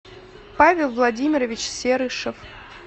павел владимирович серышев